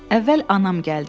Əvvəl anam gəldi.